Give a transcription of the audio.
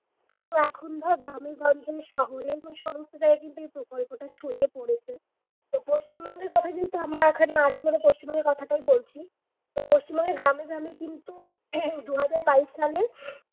কিন্তু এখন ধর গ্রামে গঞ্জে শহরে এবং সমস্ত জায়গায় কিন্তু এই প্রকল্পটা ছড়িয়ে পড়েছে তো পশ্চিমবঙ্গের কথা যেহেতু আমরা এখানে আছি মানে পশ্চিমবঙ্গের কথাটাই বলছি তো পশ্চিমবঙ্গে গ্রামে গ্রামে কিন্তু দু হাজার বাইশ সালে